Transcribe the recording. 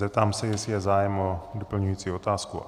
Zeptám se, jestli je zájem o doplňující otázku.